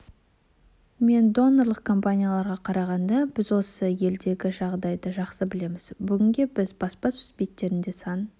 мен донорлық компанияларға қарағанда біз осы елдегі жағдайды жақсы білеміз бүгінде біз баспасөз беттерінде сан